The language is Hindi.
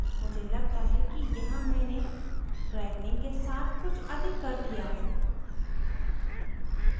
मुझे लगता है कि यहाँ मैंने brightening के साथ कुछ अधिक कर लिया है